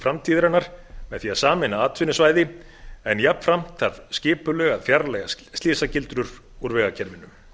framtíðarinnar með því að sameina atvinnusvæði en jafnframt þarf skipulega að fjarlægja slysagildrur úr vegakerfinu